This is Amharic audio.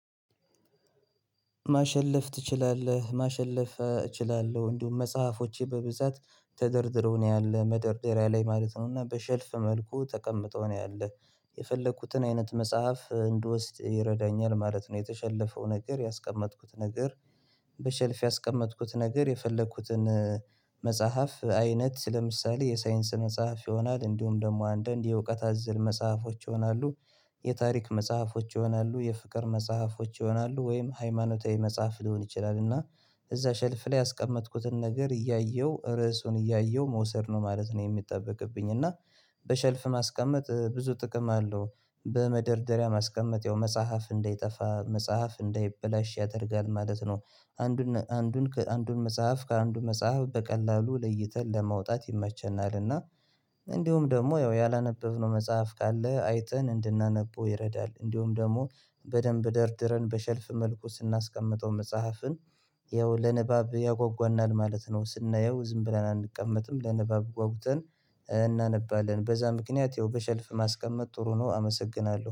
ማሸለፍ ትችላለህ? ማሸለፍ እችላለሁ እንዲሁም መጽሐፎቼ በብዛት ተደርድረው ነው ያለው መደርደሪያ ላይ ማለት ነው እና በሸልፍ መልኩ ተቀምጠው ነው ያለው። የፈለኩትን አይነት መጽሐፍ እንድወስድ ይረዳኛል ማለት ነው። የተሸለፈው ነገር ያስቀመጥኩት ነገር በሸልፍ ያስቀመጥኩት ነገር የፈለኩትን መጽሐፍ አይነት ለምሳሌ የሳይንስ መጽሐፍ ይሆናል እንዲሁም ደግሞ አንዳንድ የእውቀት አዘል መጽሐፎች ይሆናሉ። የታሪክ መጽሐፎች ይሆናሉ የፍቅር መጽሐፎች ይሆናሉ ወይም ሃይማኖታዊ መጽሐፍ ሊሆን ይችላል። እና እዛ ሸልፍ ላይ ያስቀመጥኩትን ነገር እያየሁ ርዕሱን እያየሁ መውሰድ ነው ማለት ነው። የሚጠበቅብኝ እና። በሸልፍ ማስቀመጥ ብዙ ጥቅም አለው በመደርደሪያ ማስቀመጥ ያው መጽሐፍ እንዳይጠፋ መጽሐፍ እንዳይበላሽ ያደርጋል ማለት ነው። አንዱን አንዱን ከአንዱን መጽሐፍ ከአንዱን መጽሐፍ በቀላሉ ለይተን ለመውጣት ይመቸናልና። እንዲሁም ደግሞ ያላነበብነው መጽሐፍ ካለ አይተን እንድናነበው ይረዳል። እንዲሁም ደግሞ በደንብ ደርድረን በሸልፍ መልኩ ስናስቀምጠው መጽሐፍን ይኸው ለንባብ ያጓጓናል ማለት ነው። ስናየው ዝም ብለን አንቀመጥም ለንባብ ጓጉተን። እናነባለን በዛ ምክንያት ይኸው በሸልፍ ማስቀመጥ ጥሩ ነው። አመሰግናለሁ